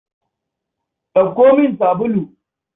Ɗauko min sabulu.